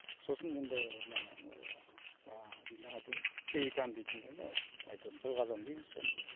сосын енді мына жаңа айтып ем пеликан дейтін әйтеуір бірқазан дейміз соны